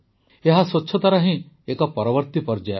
ଏହା ସ୍ୱଚ୍ଛତାର ହିଁ ଏକ ପରବର୍ତୀ ପର୍ଯ୍ୟାୟ